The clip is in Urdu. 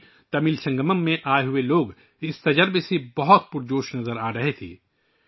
کاشی تمل سنگمم میں آنے والے لوگ اس تجربے کو لے کر کافی پرجوش نظر آئے